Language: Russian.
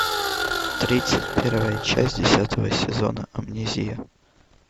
тридцать первая часть десятого сезона амнезия